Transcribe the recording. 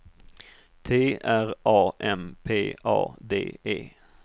T R A M P A D E